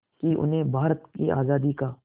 कि उन्हें भारत की आज़ादी का